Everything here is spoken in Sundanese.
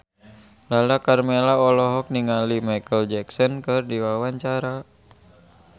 Lala Karmela olohok ningali Micheal Jackson keur diwawancara